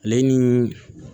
Ale ni